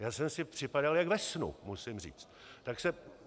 Já jsem si připadal jak ve snu, musím říct.